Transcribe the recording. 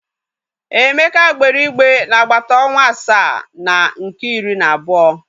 Emeka gbere igbe n'agbata ọnwa asaa na nke iri na abuo.